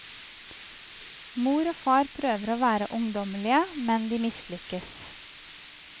Mor og far prøver å være ungdommelige, men de mislykkes.